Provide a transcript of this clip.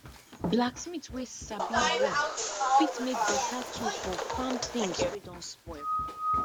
blacksmith wey sabi work fit make beta tools from farm things wey don spoil